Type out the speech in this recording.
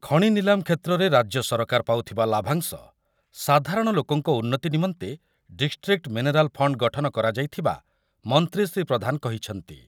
ଖଣି ନିଲାମ କ୍ଷେତ୍ରରେ ରାଜ୍ୟ ସରକାର ପାଉଥିବା ଲାଭାଂଶ ସାଧାରଣ ଲୋକଙ୍କ ଉନ୍ନତି ନିମନ୍ତେ ଡିଷ୍ଟ୍ରିକ୍ଟ୍ ମିନେରାଲ୍ ଫଣ୍ଡ୍ ଗଠନ କରାଯାଇଥିବା ମନ୍ତ୍ରୀ ଶ୍ରୀ ପ୍ରଧାନ କହିଛନ୍ତି।